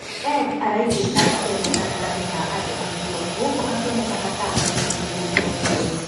Edd araiguĩka akĩaria gatagati ka andũ acio gũkũ akĩonekana ta amakĩtio nĩ riboti ĩyo.